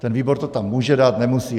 Ten výbor to tam může dát, nemusí.